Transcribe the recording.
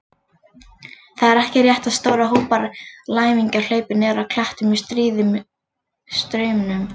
Það er ekki rétt að stórir hópar læmingja hlaupi niður af klettum í stríðum straumum.